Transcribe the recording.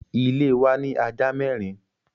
Ile wa ni aja mẹrin